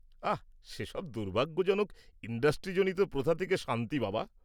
আহ! সেসব দুর্ভাগ্যজনক ইন্ডাস্ট্রিজনিত প্রথা থেকে শান্তি বাবা।